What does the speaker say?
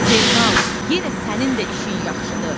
Zeynal, yenə sənin də işin yaxşıdır.